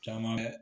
Caman bɛ